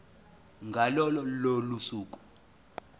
ngalo lolo suku